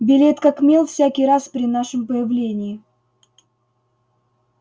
белеет как мел всякий раз при нашем появлении